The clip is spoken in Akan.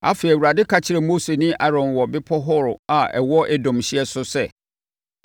Afei, Awurade ka kyerɛɛ Mose ne Aaron wɔ Bepɔ Hor a ɛwɔ Edom hyeɛ so sɛ,